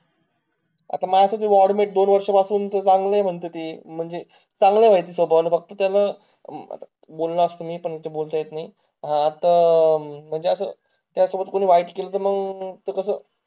अता माणसाची वाडमिट दोन वर्ष पासून तर चांगलीए म्हणते ती, म्हणजे चांगला ए स्वभावाला, फक्त त्यानं, बोललो असतो मी पण इथं बोलता येत नई आता, म्हणजे अता त्या सोबत कोणी वाईट केलं तर मंग कसं